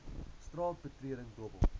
straat betreding dobbel